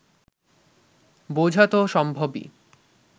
বোঝা তো সম্ভবই